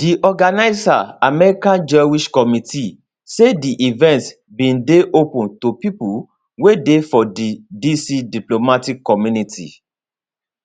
di organiser american jewish committee say di event bin dey open to pipo wey dey for di dc diplomatic community